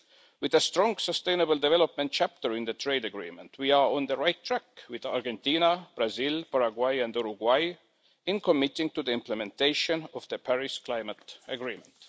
With a strong, sustainable development chapter in the trade agreement, we are on the right track with Argentina, Brazil, Paraguay and Uruguay in committing to the implementation of the Paris Climate Agreement.